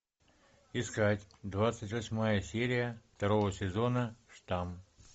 искать двадцать восьмая серия второго сезона штамм